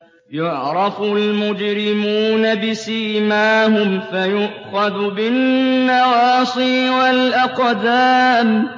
يُعْرَفُ الْمُجْرِمُونَ بِسِيمَاهُمْ فَيُؤْخَذُ بِالنَّوَاصِي وَالْأَقْدَامِ